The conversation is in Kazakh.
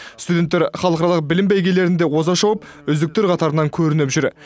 студенттер халықаралық білім бәйгелерінде оза шауып үздіктер қатарынан көрініп жүр